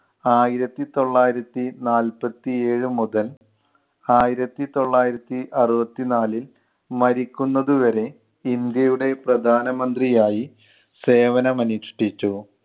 ആയിരത്തി തൊള്ളായിരത്തി നാൽപത്തി ഏഴ് മുതല ആയിരത്തിതൊള്ളായിരത്തി അറുപത്തി നാലിൽ മരിക്കുന്നത് വരെ ഇന്ത്യയുടെ പ്രധാനമന്ത്രി ആയി സേവനം അനുഷ്‌ഠിച്ചു.